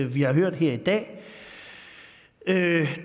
vi har hørt her i dag